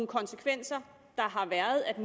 konsekvenser der har været af